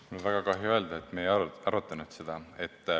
Mul on väga kahju öelda, et me ei arutanud seda.